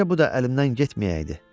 Bircə bu da əlimdən getməyəydi.